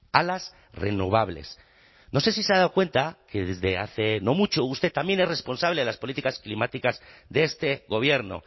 a las renovables no sé si se ha dado cuenta que desde hace no mucho usted también es responsable de las políticas climáticas de este gobierno